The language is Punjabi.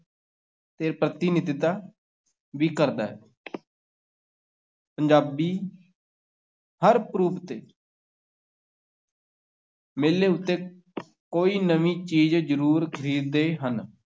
ਤੇ ਪ੍ਰਤਿਨਿਧਤਾ ਵੀ ਕਰਦਾ ਹੈ ਪੰਜਾਬੀ ਹਰ ਪੁਰਬ ਤੇ ਮੇਲੇ ਉੱਤੇ ਕੋਈ ਨਵੀਂ ਚੀਜ਼ ਜ਼ਰੂਰ ਖ਼ਰੀਦਦੇ ਹਨ।